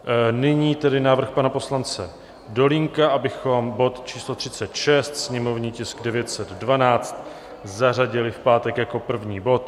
Nyní tedy návrh pana poslance Dolínka, abychom bod číslo 36, sněmovní tisk 912, zařadili v pátek jako první bod.